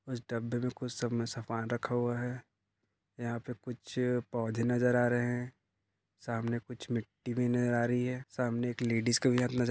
उस डब्बे मे कूछ सब मे सामान रखा हुआ है यहाँ पे कुछ पौधे नजर आ रहे है सामने कुछ मिट्टी भी नजर आ रही है सामने एक लेडीस का वेअर नजर --